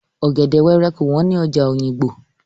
Ọ̀gẹ̀dè wẹ́rẹ́ kò wọ́n ní ọjà Òyìngbò.